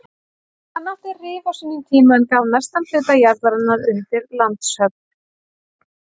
Hann átti Rif á sínum tíma en gaf mestan hluta jarðarinnar undir landshöfn.